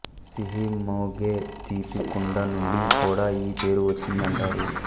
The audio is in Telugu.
సిహి మోగె తీపి కుండ నుండి కూడా ఈ పేరు వచ్చిందంటారు